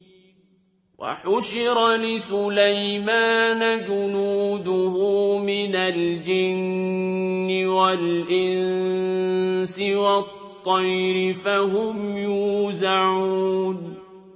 وَحُشِرَ لِسُلَيْمَانَ جُنُودُهُ مِنَ الْجِنِّ وَالْإِنسِ وَالطَّيْرِ فَهُمْ يُوزَعُونَ